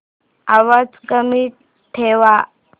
आवाज कमी ठेवा